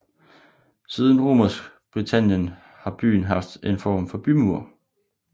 Siden Romersk Britannien har byen haft en form for bymur